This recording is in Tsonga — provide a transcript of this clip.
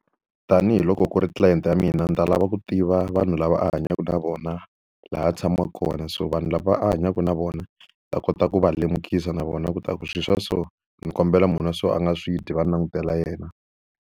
Tanihi loko ku ri tlilayenti ya mina ni ta lava ku tiva vanhu lava hanyaka na vona, laha a tshamaka kona. So vanhu lava a hanyaka na vona va kota ku va lemukisa na vona leswaku swilo swa so, ni kombela munhu a so a nga swi dyi va ni langutela yena.